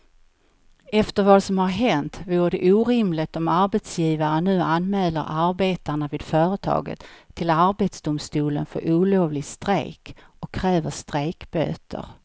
Efter vad som har hänt vore det orimligt om arbetsgivaren nu anmäler arbetarna vid företaget till arbetsdomstolen för olovlig strejk och kräver strejkböter.